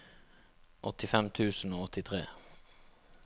åttifem tusen og åttitre